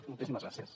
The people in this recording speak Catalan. moltíssimes gràcies